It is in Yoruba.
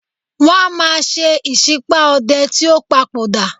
Wọ́n máa ń ṣe ìsípá ọdẹ tí ó padò dà.